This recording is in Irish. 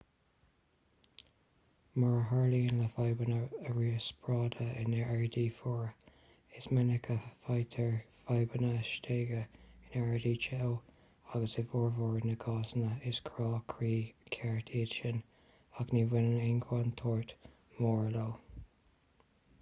mar a tharlaíonn le fadhbanna riospráide in aeráidí fuara is minic a fhaightear fadhbanna stéige in aeráidí teo agus i bhformhór na gcásanna is crá croí ceart iad sin ach ní bhaineann aon chontúirt mhór leo